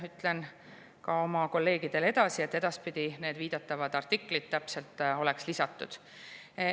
Ütlen ka oma kolleegidele edasi, et edaspidi oleks viidatavad artiklid täpselt lisatud.